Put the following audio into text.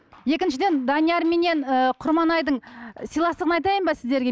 екіншіден даниярменен ы құрманайдың сыйластығын айтайын ба сіздерге